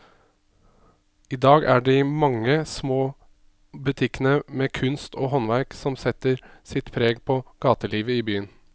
I dag er det de mange små butikkene med kunst og håndverk som setter sitt preg på gatelivet i byen.